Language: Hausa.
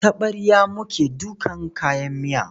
Da taɓarya muke dakan kayan miya.